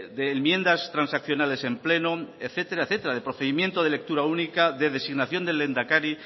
de enmiendas transaccionales en pleno etcétera etcétera de procedimiento de lectura única de designación del lehendakari